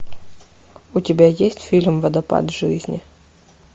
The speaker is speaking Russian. у тебя есть фильм водопад жизни